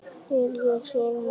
Er ég hrifinn af honum?